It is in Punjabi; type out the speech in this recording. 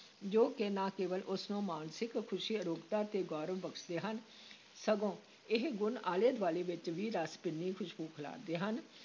ਜੋ ਕਿ ਨਾ ਕੇਵਲ ਉਸ ਨੂੰ ਮਾਨਸਿਕ ਖੁਸ਼ੀ, ਅਰੋਗਤਾ ਤੇ ਗੌਰਵ ਬਖਸ਼ਦੇ ਹਨ ਸਗੋਂ ਇਹ ਗੁਣ ਆਲੇ-ਦੁਆਲੇ ਵਿਚ ਵੀ ਰਸ ਭਿੰਨੀ ਖੁਸ਼ਬੂ ਖਿਲਾਰਦੇ ਹਨ।